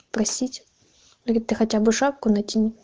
простить или ты хотя бы шапку натяни